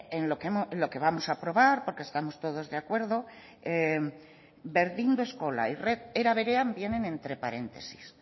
en lo que vamos a aprobar porque estamos todos de acuerdo berdindu eskola y red eraberean vienen entre paréntesis